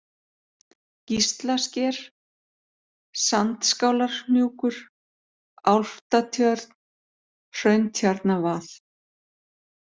Gíslasker, Sandskálarhnjúkur, Álftatjörn, Hrauntjarnarvað